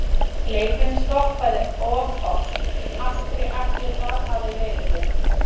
Leikurinn stoppaður of oft, af hverju ætli það hafi verið vinur?